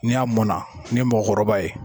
Ni a mɔn na, ni ye mɔgɔkɔrɔba ye.